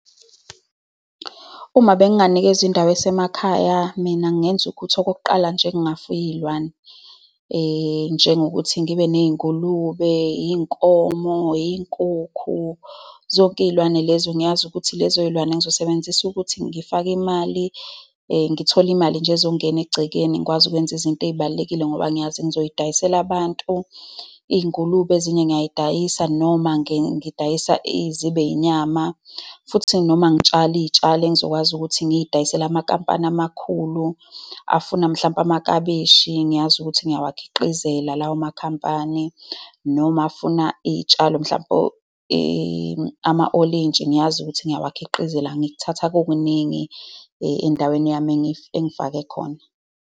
Uma benganikezwa indawo esemakhaya, mina ngingenza ukuthi, okokuqala nje, ngingafuya iy'lwane. Njengokuthi ngibe ney'ngulube, iy'nkomo, iy'nkukhu, zonke iy'lwane lezo. Ngiyazi ukuthi lezo y'lwane ngizosebenzisa ukuthi ngifake imali, ngithole imali nje ezongena egcekeni, ngikwazi ukwenza izinto ey'balulekile ngoba ngiyazi ngizoy'idayisela abantu. Iy'ngulube ezinye ngiyazidayisa, noma ngidayise zibe inyama. Futhi noma ngitshale iy'tshalo engizokwazi ukuthi ngidayisele amakhampani amakhulu afuna mhlawumpe amakabishi. Ngiyazi ukuthi ngiyawakhiqizela lawo makhampani, noma afuna iy'tshalo mhlampe ama-olintshi. Ngiyazi ukuthi ngiyawakhiqizela. Ngikuthatha kukuningi endaweni yami engifake khona.